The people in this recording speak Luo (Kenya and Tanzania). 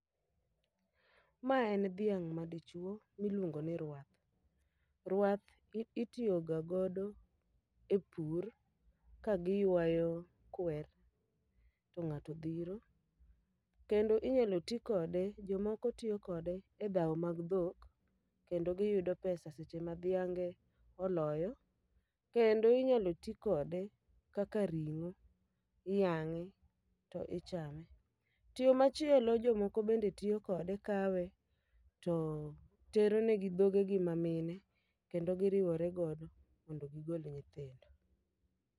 Ma en dhiang' ma dichwo miluongo ni rwath, rwath itiyo ga godo e pur ka giywayo kwer to ng'ato dhiro. Kendo inyalo ti kode, jomoko tiyo kode e dhawo mag dhok, kendo giyudo pesa seche ma dhiange oloyo. kendo inyalo ti kode kaka ring'o, iyang'e to ichame. Chieng' machielo jomoko bende tiyo kode kawe, to tero negi dhoge gi ma mine. Kendo giriwore godo mondo gigol nyithindo.